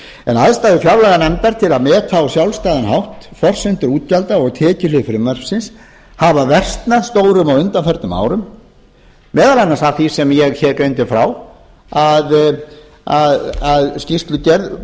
en aðstæður fjárlaganefndar til að meta á sjálfstæðan hátt forsendur útgjalda og tekjuhlið frumvarpsins hafa versnað stórum á undanförnum árum meðal annars af því sem ég greindi frá að skýrslugerð